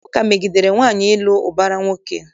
Ụka megidere nwaanyị ịlụ ụbara nwoke.